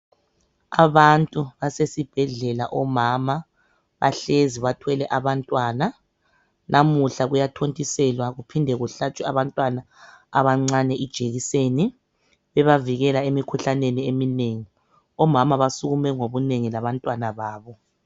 Abantu basesibhedlela, omama bahlezi bathwele abantwana namuhla kuyathontiselwa kuphinde kuhlatshwe abantwana abancane ijekiseni ebavikela emikhuhlaneni eminengi ,omama basukume ngobunengi labantwana babo .